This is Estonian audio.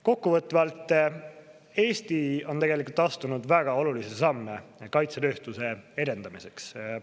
Kokkuvõtvalt, Eesti on tegelikult astunud väga olulisi samme kaitsetööstuse edendamiseks.